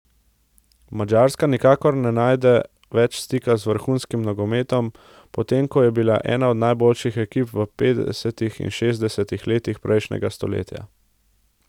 Madžarska nikakor ne najde več stika z vrhunskim nogometom, potem ko je bila ena od najboljših ekip v petdesetih in šestdesetih letih prejšnjega stoletja.